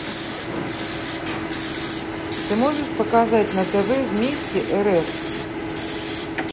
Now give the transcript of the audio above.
ты можешь показать на тв вместе рф